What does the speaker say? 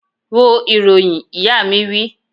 Wo ìròyìn! Ìyá mi wí